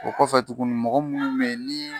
O kɔfɛ tukuni mɔgɔ munnu be yen ni